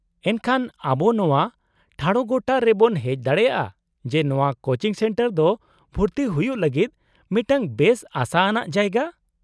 -ᱮᱱᱠᱷᱟᱱ ᱟᱵᱚ ᱱᱚᱶᱟ ᱴᱷᱟᱲᱚᱜᱚᱴᱟ ᱨᱮᱵᱚᱱ ᱦᱮᱡ ᱫᱟᱲᱮᱭᱟᱜᱼᱟ ᱡᱮ ᱱᱚᱶᱟ ᱠᱳᱪᱤᱝ ᱥᱮᱱᱴᱟᱨ ᱫᱚ ᱵᱷᱩᱨᱛᱤ ᱦᱩᱭᱩᱜ ᱞᱟᱹᱜᱤᱫ ᱢᱤᱫᱴᱟᱝ ᱵᱮᱥ ᱟᱥᱟ ᱟᱱᱟᱜ ᱡᱟᱭᱜᱟ ᱾